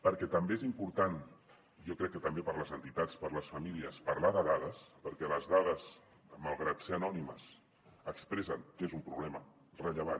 perquè també és important jo crec que també per a les entitats per a les famílies parlar de dades perquè les dades malgrat ser anònimes expressen que és un problema rellevant